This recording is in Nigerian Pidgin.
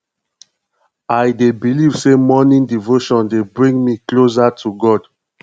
i dey believe say morning devotion dey bring me closer to god